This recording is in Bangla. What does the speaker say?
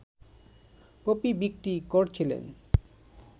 পপি বিক্রি করছিলেন